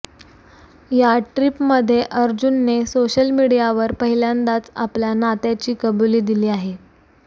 या ट्रीपमध्ये अर्जुनने सोशल मिडियावर पहिल्यांदाच आपल्या नात्याची कबुली दिली आहे